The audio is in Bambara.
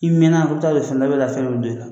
I mɛnna t'a fundɛli bɛ ka fɛn dɔ bil'i la